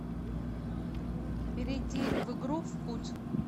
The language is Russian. перейди в игру впуть